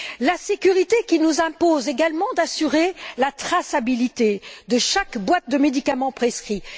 La sécurité qui nous impose également d'assurer la traçabilité de chaque boîte de médicaments prescrits.